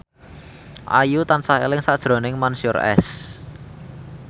Ayu tansah eling sakjroning Mansyur S